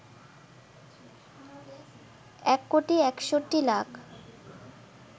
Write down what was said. ১ crore ৬১ lakh